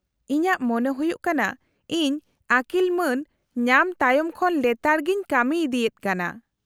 -ᱤᱧᱟᱹᱜ ᱢᱚᱱᱮ ᱦᱩᱭᱩᱜ ᱠᱟᱱᱟ ᱤᱧ ᱟᱹᱠᱤᱞ ᱢᱟᱹᱱ ᱧᱟᱢ ᱛᱟᱭᱚᱢ ᱠᱷᱚᱱ ᱞᱮᱛᱟᱲᱜᱮᱧ ᱠᱟᱹᱢᱤ ᱤᱫᱤᱭᱮᱫ ᱠᱟᱱᱟ ᱾